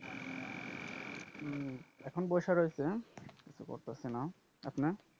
উম এখন বইসা রইছি হ্যাঁ। কিছু করতাছি না। আপনে?